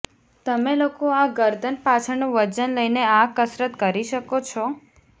તમે લોકો આ ગરદન પાછળનું વજન લઈને આ કસરત કરી શકો છો